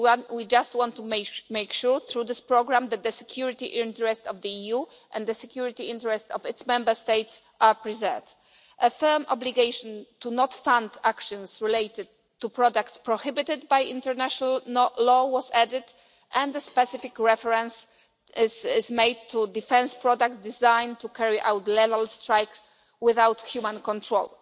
we just want to make sure through this programme that the security interests of the EU and the security interests of its Member States are preserved. A firm obligation not to fund actions related to products prohibited by international law was added and a specific reference has been made to defence products designed to carry out level strikes without human control.